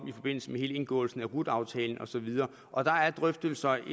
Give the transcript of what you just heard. i forbindelse med indgåelsen af rut aftalen og så videre og der er drøftelser